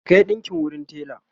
ki Kai ɗinƙin wurin tela!